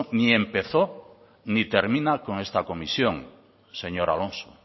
ni empezó ni termina con esta comisión señor alonso